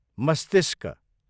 मस्तिष्क